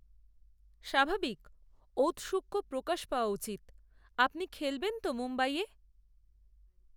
স্বাভাবিক, ঔত্সুক্য প্রকাশ পাওয়া উচিত, আপনি খেলবেন তো মুম্বইয়ে